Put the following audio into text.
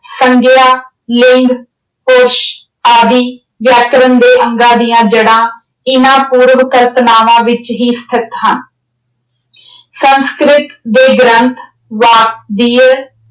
ਸੰਗਿਆ, ਲਿੰਗ, ਪੁਰਸ਼ ਆਦਿ ਵਿਆਕਰਣ ਦੇ ਅੰਗਾਂ ਦੀਆਂ ਜੜ੍ਹਾਂ ਇਨ੍ਹਾਂ ਪੂਰਵ ਕਲਪਨਾਵਾਂ ਵਿੱਚ ਹੀ ਸਥਿਤ ਹਨ। ਸੰਸਕ੍ਰਿਤ ਦੇ ਗ੍ਰੰਥ ਵਾਕ